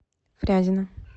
фрязино